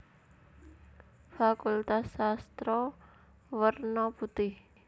Fakultas Sastra werna putih